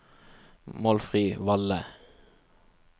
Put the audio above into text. Målfrid Valle